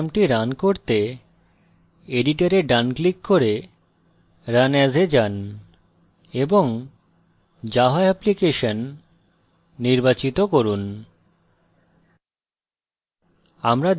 এই program run করতে editor এ ডান click করে run as এ যান এবং java application নির্বাচিত করুন